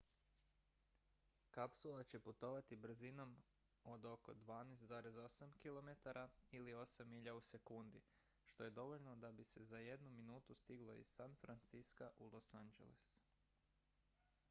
kapsula će putovati brzinom od oko 12,8 km ili 8 milja u sekundi što je dovoljno da bi se za jednu minutu stiglo iz san francisca u los angeles